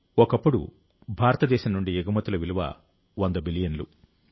ఒకప్పుడు భారతదేశం నుండి ఎగుమతుల విలువ 100 బిలియన్లు